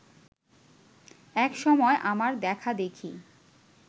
এক সময় আমার দেখাদেখি